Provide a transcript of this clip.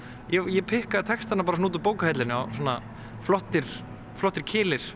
ég pikkaði textana bara svona út úr bókahillunni svona flottir flottir